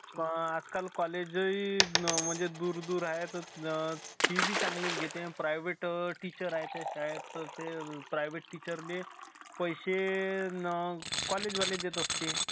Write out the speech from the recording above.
आणि आजकाल college ही म्हणजे दूर दूर आहेत. fee बी चांगलीच घेते. private टीचर आहे त्या शाळेत तर ते private teacher ते पैसे college वाले देत असते.